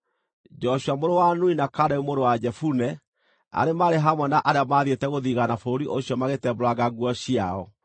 Joshua mũrũ wa Nuni na Kalebu mũrũ wa Jefune, arĩa maarĩ hamwe na arĩa maathiĩte gũthigaana bũrũri ũcio magĩtembũranga nguo ciao.